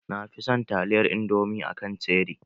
Na fi son taliyar indomi a kan cheri